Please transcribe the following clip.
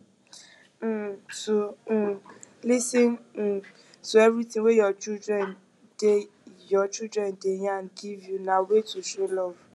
um to um lis ten um to everything way your children de your children de yarn give you na way to show love